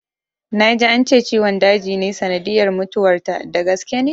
Na ji ance ciwon daji ne sanadiyyar mutuwar ta, da gaske ne?